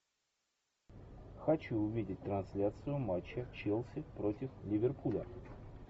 хочу увидеть трансляцию матча челси против ливерпуля